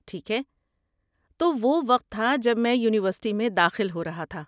ٹھیک ہے، تو وہ وقت تھا جب میں یونیورسٹی میں داخل ہو رہا تھا۔